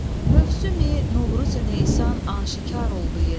Mövsümi Novruzü Neysan aşikar oldu yenə.